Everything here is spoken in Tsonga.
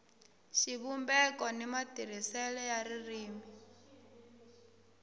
xivumbeko ni matirhisele ya ririmi